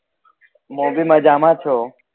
મુ બી મજામાં છુ